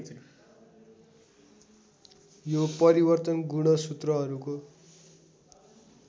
यो परिवर्तन गुणसूत्रहरूको